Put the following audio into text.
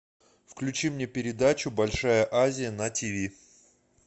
включи мне передачу большая азия на ти ви